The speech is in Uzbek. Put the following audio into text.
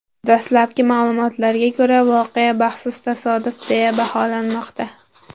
Dastlabki ma’lumotlarga ko‘ra, voqea baxtsiz tasodif, deya baholanmoqda.